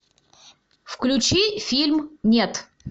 включи фильм нет